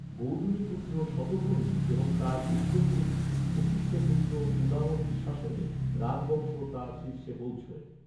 গৌতমীপুত্র সতকর্ণী এবং তার উত্তরসূরি, বশিষ্ঠ পুত্র পুলামভির শাসনে, রাজবংশ তার শীর্ষে পৌঁছোয়।